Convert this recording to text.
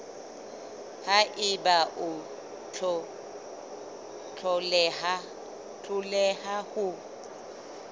ha eba o hloleha ho